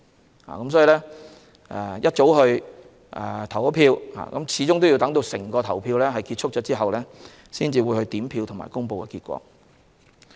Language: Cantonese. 因此，即使選民大清早去投票，始終都要等到整個投票程序結束後，才會進行點票和公布結果。